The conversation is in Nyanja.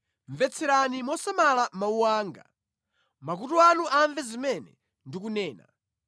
Mvetserani mosamala mawu anga; makutu anu amve zimene ndikunena.